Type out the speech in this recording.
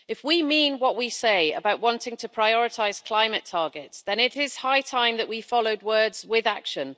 If we mean what we say about wanting to prioritise climate targets, then it is high time that we followed words with action.